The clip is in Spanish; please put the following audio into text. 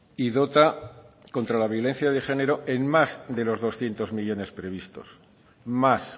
y dota contra la violencia de género en más de los doscientos millónes previstos más